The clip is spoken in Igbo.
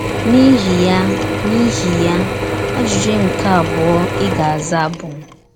N’ihi ya, N’ihi ya, ajụjụ nke abụọ ị ga - aza bụ...